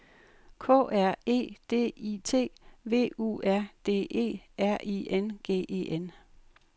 K R E D I T V U R D E R I N G E N